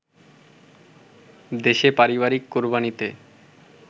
দেশে পারিবারিক কোরবানিতে